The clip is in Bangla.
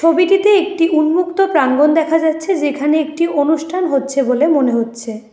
ছবিটিতে একটি উন্মুক্ত প্রাঙ্গণ দেখা যাচ্ছে যেখানে একটি অনুষ্ঠান হচ্ছে বলে মনে হচ্ছে।